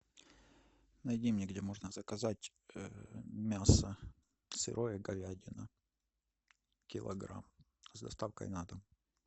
найди мне где можно заказать мясо сырое говядина килограмм с доставкой на дом